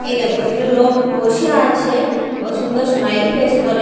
এই দেখো এটা লোক বসে আছে কত সুন্দর স্মাইল ফেস করে--